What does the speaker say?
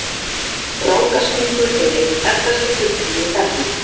Rákaskunkur er einn þekktasti fulltrúi þefdýra.